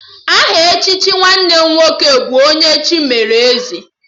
Aha echichi nwanne m nwoke bụ 'Onye Chi melụ Eze'